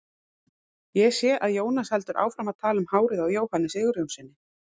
Ég sé að Jónas heldur áfram að tala um hárið á Jóhanni Sigurjónssyni.